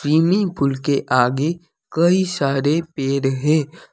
Swimming pool के आगे कई सारे पेड़ है।